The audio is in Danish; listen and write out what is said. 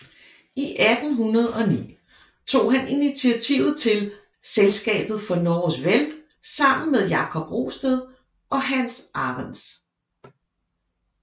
I 1809 tog han initiativet til Selskabet for Norges Vel sammen med Jakob Rosted og Hans Arentz